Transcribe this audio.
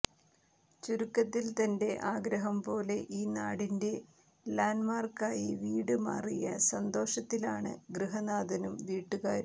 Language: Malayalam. ചുരുക്കത്തിൽ തന്റെ ആഗ്രഹം പോലെ ഈ നാടിൻറെ ലാൻഡ്മാർക്കായി വീട് മാറിയ സന്തോഷത്തിലാണ് ഗൃഹനാഥനും വീട്ടുകാരും